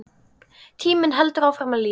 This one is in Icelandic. Tíminn heldur áfram að líða.